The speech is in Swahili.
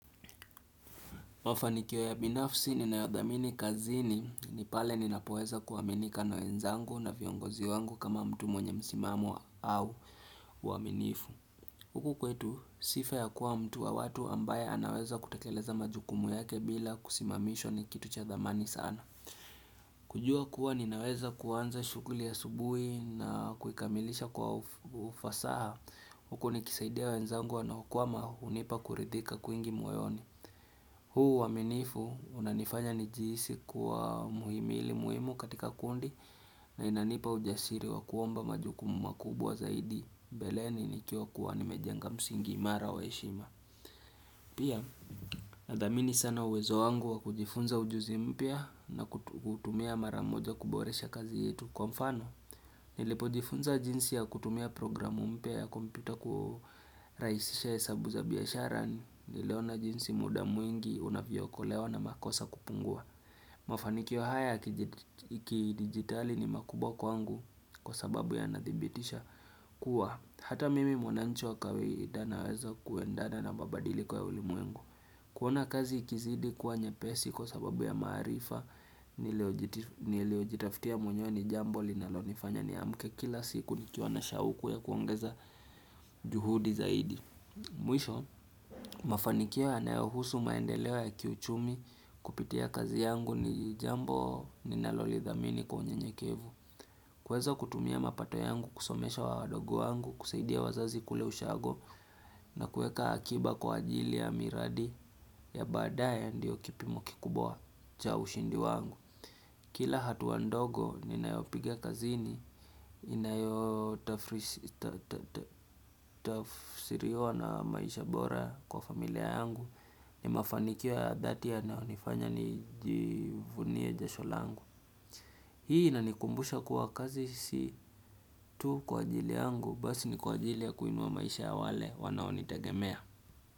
Mafanikio ya binafsi ninayodhamini kazini ni pale ninapoweza kuaminika na wenzangu na viongozi wangu kama mtu mwenye msimamo au uaminifu Huku kwetu sifa ya kuwa mtu wa watu ambaye anaweza kutakeleza majukumu yake bila kusimamishwa ni kitu cha dhamani sana kujua kuwa ninaweza kuanza shughuli asubui na kuikamilisha kwa ufasaha huku nikisaidia wenzangu wanaokwama hunipa kuridhika kwingi moyoni huu uwaminifu unanifanya nijihisi kuwa muhimi ili muhimu katika kundi na inanipa ujasiri wa kuomba majukumu makubwa zaidi mbeleni nikiwa kuwa nimejanga msingi imara wa heshima Pia nadhamini sana uwezo wangu wa kujifunza ujuzi mpya na hutumia mara moja kuboresha kazi yetu kwa mfano Nilipo jifunza jinsi ya kutumia programu mpya ya kompyuta kurahishisha hesabu za biashara niliona jinsi muda mwingi una vyooko ewa na makosa kupungua. Mafanikio haya yaki digitali ni makuwao kwangu kwa sababu ya nathibitisha kuwa. Hata mimi mwananchi kawaida naweza kuendana na mabadiliko ya ulimwengu. Kuona kazi ikizidi kuwa nyepesi kwa sababu ya maarifa nilio jitafutia mwenyewe ni jambo linalo nifanya niamke kila siku nikiwa na shauku ya kuongeza juhudi zaidi. Mwisho, mafanikio ya nayohusu maendeleo ya kiuchumi kupitia kazi yangu ni jambo ninalo lidhamini kwa unye nyekevu. Kuweza kutumia mapato yangu kusomesha wadogo wangu kusaidia wazazi kule ushago na kuweka akiba kwa ajili ya miradi ya baadaya ndiyo kipimo ki kubwa cha ushindi wangu. Kila hatua ndogo ninayopiga kazini, inayo tafsiriwa na maisha bora kwa familia yangu, ni mafanikio ya dhati ya nayonifanya ni jivunie jasho langu. Hii inanikumbusha kuwa kazi si tu kwa ajili yangu basi ni kwa ajili ya kuinua maisha ya wale wanaonitegemea.